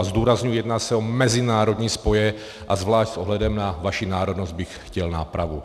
A zdůrazňuji, jedná se o mezinárodní spoje, a zvlášť s ohledem na vaši národnost bych chtěl nápravu.